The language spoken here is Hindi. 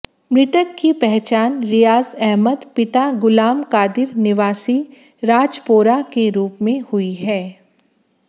मृतक की पहचान रियाज अहमद पिता गुलाम कादिर निवासी राजपोरा के रूप में हुई है